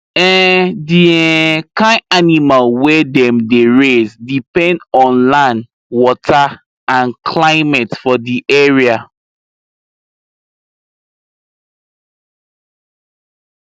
um the um kind animal wey dem dey raise depend on land water and climate for di area